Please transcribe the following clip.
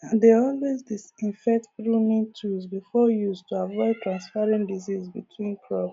i dey always disinfect pruning tools before use to avoid transferring disease between crop